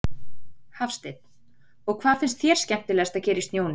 Hafsteinn: Og hvað finnst þér skemmtilegast að gera í snjónum?